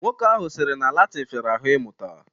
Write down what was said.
Nwoke ahụ sịrị na Latịn fịara ahụ ịmụta